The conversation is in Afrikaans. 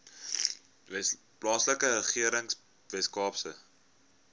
plaaslike regering weskaapse